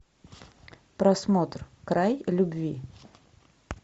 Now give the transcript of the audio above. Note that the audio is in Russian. просмотр край любви